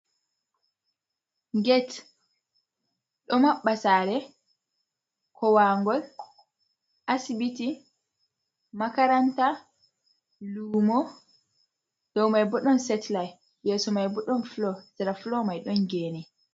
get do maɓɓ a sare, kowangol, asbiti, makaranta lumo, dow mai bo don setliite yeso mai bodon Flo, sera flo mai don gene.